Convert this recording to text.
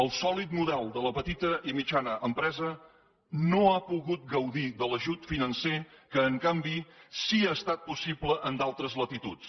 el sòlid model de la petita i mitjana empresa no ha pogut gaudir de l’ajut financer que en canvi sí ha estat possible en d’altres latituds